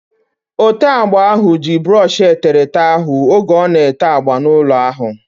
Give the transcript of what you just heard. Ote agba ahu ji brọọshi eterete ahu oge ọ na-ete agba n'ụlọ ahu